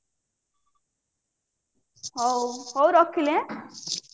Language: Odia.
ହଉ ରଖିଲି ଏଁ